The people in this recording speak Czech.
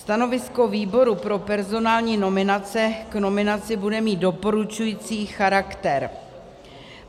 Stanovisko výboru pro personální nominace k nominaci bude mít doporučující charakter.